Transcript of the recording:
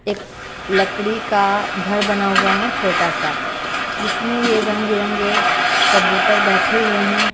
एक लकड़ी का घर बना हुआ है छोटा सा जिसमें ये रंग-बिरंगे कबूतर बैठे हुए हैं।